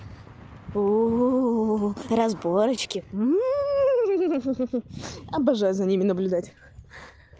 уу разборочки мм обожаю за ними наблюдать